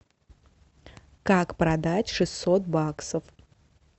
как продать шестьсот баксов